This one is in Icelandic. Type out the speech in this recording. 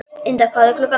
Ynda, hvað er klukkan?